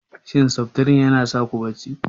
Shin Septrin yana sa ku barci?